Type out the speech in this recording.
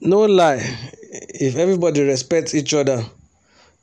no lie if everybody respect each other